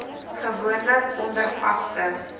gewoonlik onder vaste